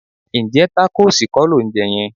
Ǹjẹ́ tákóòsì kọ́ lò ń jẹ yẹn?